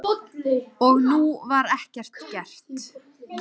Og nú var ekkert gert.